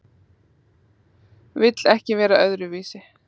Vill ekki vera öðruvísi.